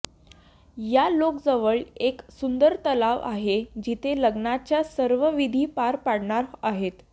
या लेकजवळ एक सुंदर तलाव आहे जिथे लग्नाच्या सर्व विधी पार पडणार आहेत